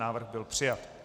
Návrh byl přijat.